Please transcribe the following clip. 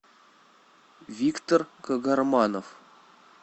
виктор кагарманов